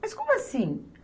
Mas como assim?